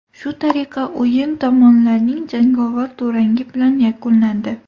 Shu tariqa o‘yin tomonlarning jangovar durangi bilan yakunlandi.